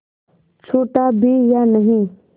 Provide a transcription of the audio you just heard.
छूटा भी या नहीं